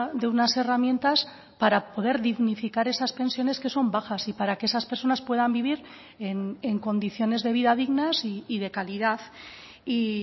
de unas herramientas para poder dignificar esas pensiones que son bajas y para que esas personas puedan vivir en condiciones de vida dignas y de calidad y